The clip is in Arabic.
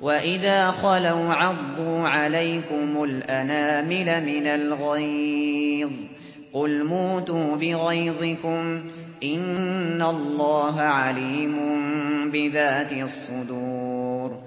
وَإِذَا خَلَوْا عَضُّوا عَلَيْكُمُ الْأَنَامِلَ مِنَ الْغَيْظِ ۚ قُلْ مُوتُوا بِغَيْظِكُمْ ۗ إِنَّ اللَّهَ عَلِيمٌ بِذَاتِ الصُّدُورِ